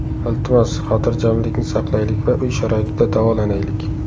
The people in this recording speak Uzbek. Iltimos, xotirjamlikni saqlaylik va uy sharoitida davolanaylik.